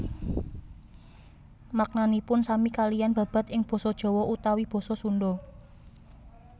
Maknanipun sami kaliyan babad ing basa Jawa utawi basa Sunda